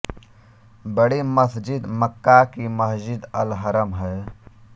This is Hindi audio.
बड़ी मस्जिद मक्का की मस्जिद अल हरम है